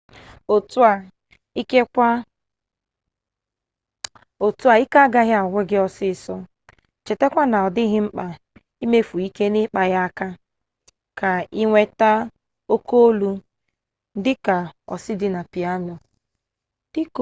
otu a ike agaghị agwụ gị ọsịsọ chetakwa na ọ dịghị mkpa imefu ike n'ịkpa ya aka ka inweta oke olu dịka osi dị na piano